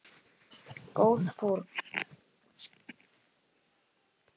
Góð fórn.